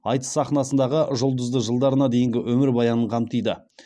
айтыс сахнасындағы жұлдызды жылдарына дейінгі өмірбаянын қамтиды